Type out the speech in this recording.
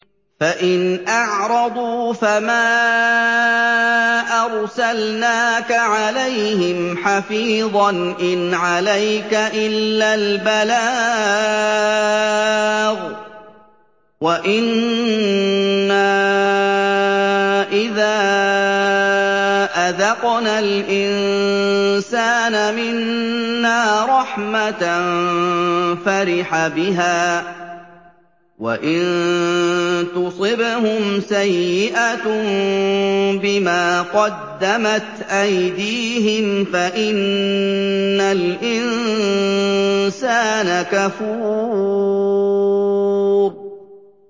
فَإِنْ أَعْرَضُوا فَمَا أَرْسَلْنَاكَ عَلَيْهِمْ حَفِيظًا ۖ إِنْ عَلَيْكَ إِلَّا الْبَلَاغُ ۗ وَإِنَّا إِذَا أَذَقْنَا الْإِنسَانَ مِنَّا رَحْمَةً فَرِحَ بِهَا ۖ وَإِن تُصِبْهُمْ سَيِّئَةٌ بِمَا قَدَّمَتْ أَيْدِيهِمْ فَإِنَّ الْإِنسَانَ كَفُورٌ